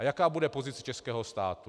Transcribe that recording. A jaká bude pozice českého státu?